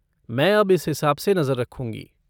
मैं अब इस हिसाब से नज़र रखूँगी।